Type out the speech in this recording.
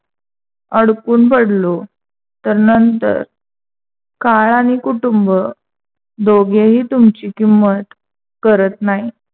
अडकून पडलो, तर नंतर काळ आणि कुटुंब दोघेही तुमची किंमत करत नाहीत.